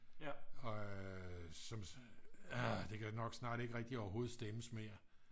og som det kan nok snart ikke rigtigt overhovedet stemmes mere